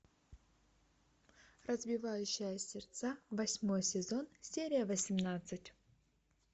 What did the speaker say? разбивающая сердца восьмой сезон серия восемнадцать